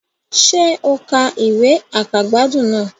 Sé o ka ìwé àkàgbádùn náà